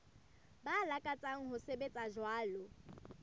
ba lakatsang ho sebetsa jwalo